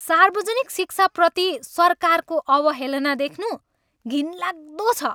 सार्वजनिक शिक्षाप्रति सरकारको अवहेलना देख्नु घिनलाग्दो छ।